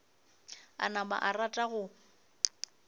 a napa a rata go